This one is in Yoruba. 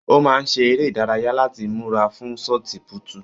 Ó máa ṣe eré ìdárayá láti múra fún sọti púútu